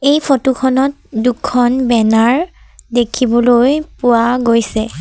এই ফটো খনত দুখন বেনাৰ দেখিবলৈ পোৱা গৈছে।